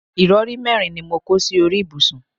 ìrọrí mẹ́rin ni mo kó sí orí ibùsùn